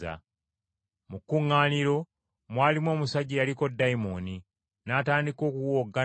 Mu kkuŋŋaaniro, mwalimu omusajja eyaliko ddayimooni n’atandika okuwowoggana nti,